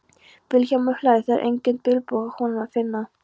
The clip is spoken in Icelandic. Vilhjálmur hlær, það er engan bilbug á honum að finna.